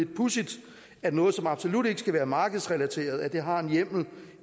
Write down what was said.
pudsigt at noget som absolut ikke skal være markedsrelateret har en hjemmel